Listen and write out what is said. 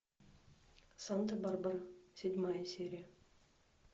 санта барбара седьмая серия